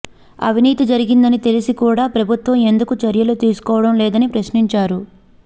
అవినీతి జరిగిందని తెలిసి కూడా ప్రభుత్వం ఎందుకు చర్యలు తీసుకోవడం లేదని ప్రశ్నించారు